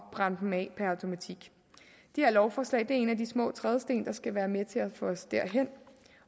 at brænde dem af det her lovforslag er en af de små trædesten der skal være med til at få os derhen